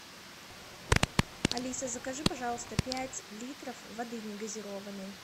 алиса закажи пожалуйста пять литров воды негазированной